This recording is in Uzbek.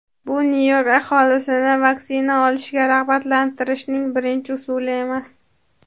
bu Nyu-York aholisini vaksina olishga rag‘batlantirishning birinchi usuli emas.